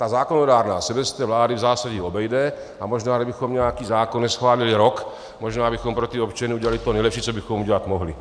Ta zákonodárná se bez té vlády v zásadě obejde, a možná kdybychom nějaký zákon neschválili rok, možná bychom pro ty občany udělali to nejlepší, co bychom udělat mohli.